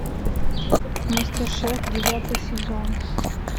мастер шеф девятый сезон